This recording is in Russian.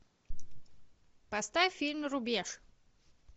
поставь фильм рубеж